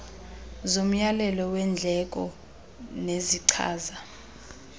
zomyalelo weendleko nezichaza